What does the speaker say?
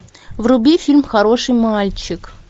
вруби фильм хороший мальчик